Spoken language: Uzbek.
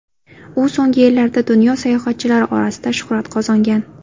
U so‘nggi yillarda dunyo sayohatchilari orasida shuhrat qozongan.